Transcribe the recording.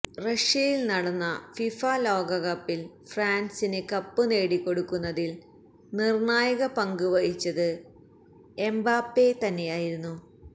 റഷ്യയില് നടന്ന ഫിഫ ലോകകപ്പില് ഫ്രാന്സിന് കപ്പ് നേടിക്കൊടുക്കുന്നതില് നിര്ണായക പങ്ക് വഹിച്ചത് എംബാപെ തന്നെയായിരുന്നു